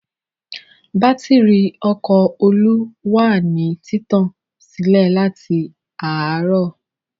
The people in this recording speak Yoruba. Bátírí ọkọ̀ Olú wà ní títàn sílẹ̀ láti àárọ̀.